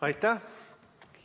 Aitäh!